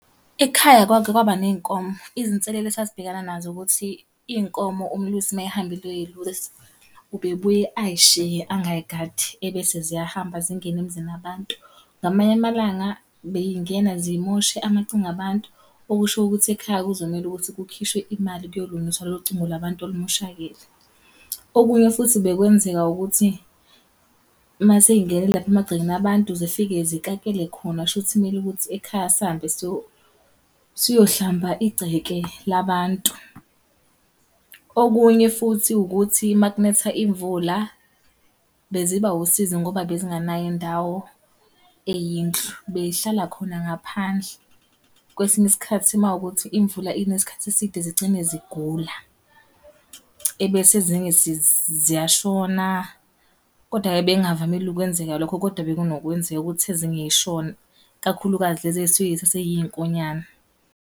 Ekhaya kwake kwaba ney'nkomo. Izinselele esasibhekana nazo ukuthi, iy'nkomo umlusi uma ehambile eyoy'lusa, ube buye ay'shiye angay'gadi. Ebese ziyahamba zingene emizini yabantu. Ngamanye amalanga bey'ngena zimoshe amacingo abantu, okusho ukuthi ekhaya kuzomele ukuthi kukhishwe imali kuyolungiswa lolo cingo la bantu olumoshakele. Okunye futhi bekwenzeka ukuthi, uma sey'ngene lapha emagcekeni abantu, zifike zikakele khona, shuthi kumele ukuthi ekhaya sihambe siyohlamba igceke labantu. Okunye futhi ukuthi uma kunetha imvula, beziba wusizi ngoba bezingenayo indawo eyindlu, bey'hlala khona ngaphandle. Kwesinye isikhathi uma kuwukuthi imvula ina isikhathi eside zigcine zigula, ebese ezinye ziyashona. Kodwa-ke bekungavamile ukwenzeka lokho kodwa bekunokwenzeka ukuthi ezinye zishone. Kakhulukazi lezi ey'suke zisaseyinkonyane.